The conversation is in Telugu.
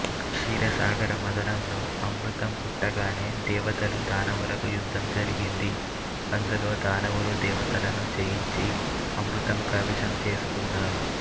క్షీరసాగరమధనంలో అమృతం పుట్టగానే దేవతలు దానవులకు యుద్ధం జరిగింది అందులో దానవులు దేవతలను జయించి అమృతము కైవశము చేసుకున్నారు